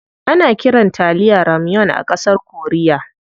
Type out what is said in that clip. Ana kiran taliya "ramyeon" a ƙasar korea.